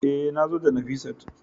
E, nazo da Nafisat